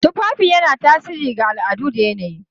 Tufafi yana tasiri ga al'adu da yanayi.